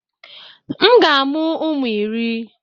M ga-amụ ụmụ iri.